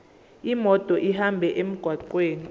imoto ihambe emgwaqweni